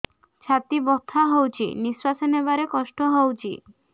ଛାତି ବଥା ହଉଚି ନିଶ୍ୱାସ ନେବାରେ କଷ୍ଟ ହଉଚି